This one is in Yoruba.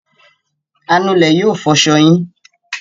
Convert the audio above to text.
Anulẹ̀ yóò fọṣọ yín.